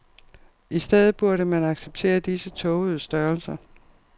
I stedet burde man acceptere disse tågede størrelser.